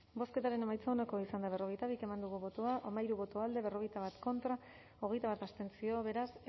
bozketaren emaitza onako izan da berrogeita bi eman dugu botoa hamairu boto alde berrogeita bat contra hogeita bat abstenzio beraz